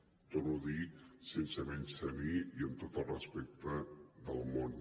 ho torno a dir sense menystenir i amb tot el respecte del món